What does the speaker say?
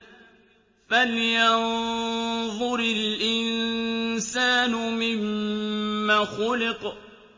فَلْيَنظُرِ الْإِنسَانُ مِمَّ خُلِقَ